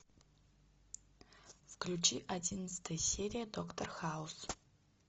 включи одиннадцатая серия доктор хаус